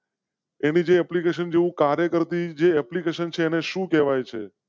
એની જ application જેવું કાર્ય કરતી જે application છે એને સુ કહેવાય છે